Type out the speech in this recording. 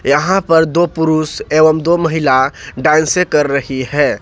यहां पर दो पुरुष एवं दो महिला डांन्से कर रही है।